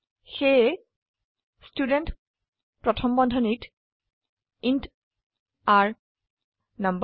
সেয়ে ষ্টুডেণ্ট প্ৰথম বন্ধনীত ইণ্ট r নাম্বাৰ